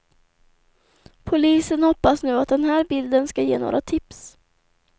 Polisen hoppas nu att den här bilden ska ge några tips.